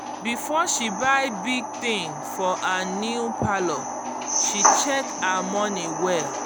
before she buy big thing for her new parlour she check her money well